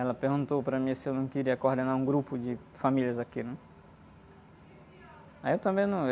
Ela perguntou para mim se eu não queria coordenar um grupo de famílias aqui, né? Aí eu...